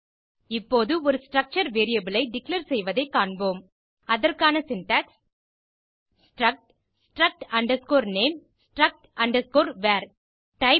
இப்போது ஒரு structure variable ஐ டிக்ளேர் செய்வதைக் காண்போம் அதற்கான syntax struct struct name struct var type